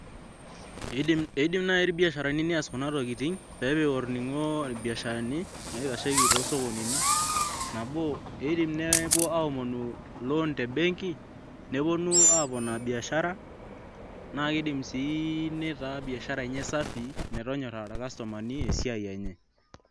Eidim naai irbiasharani nepik olning'o lorbiasharani naitasheiki toosokonini nabo idim nepuo aaya loan nabo iidim nepuo aaomonu